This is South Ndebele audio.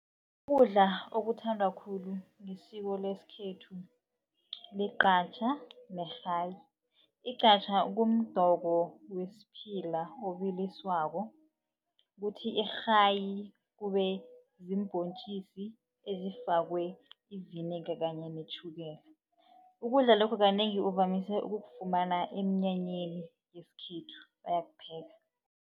Ukudla okuthandwa khulu ngesiko lesikhethu ligqhatjha nerhayi. Igqhatjha kumdoko wesiphila obiliswako kuthi irhayi kube ziimbhontjisi ezifakwe iviniga kanye netjhukela. Ukudla lokhu kanengi uvamise ukufumana eminyanyeni yesikhethu bayakupheka.